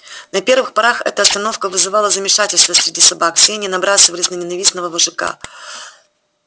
на первых порах эта остановка вызывала замешательство среди собак все они набрасывались на ненавистного вожака